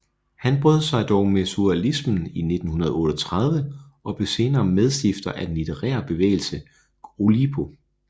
Han brød dog med surrealismen i 1938 og blev senere medstifter af den litterære bevægelse Oulipo